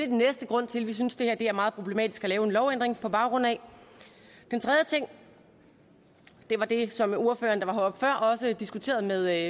den næste grund til at vi synes det her er meget problematisk at lave en lovændring på baggrund af den tredje ting og det var det som ordføreren før også diskuterede med